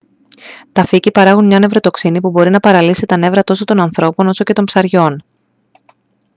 τα φύκη παράγουν μια νευροτοξίνη που μπορεί να παραλύσει τα νεύρα τόσο των ανθρώπων όσο και των ψαριών